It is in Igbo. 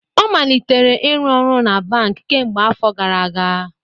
Ọ malitere ịrụ ọrụ na bamk kemgbe afọ gara aga